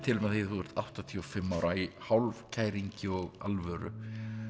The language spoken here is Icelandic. þú ert áttatíu og fimm ára í hálfkæringi og alvöru